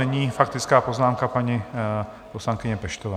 Nyní faktická poznámka paní poslankyně Peštové.